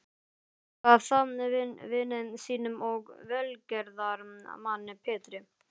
Gaf það vini sínum og velgerðarmanni Pétri